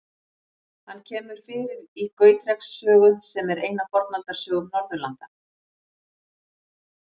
Hann kemur fyrir í Gautreks sögu, sem er ein af Fornaldarsögum Norðurlanda.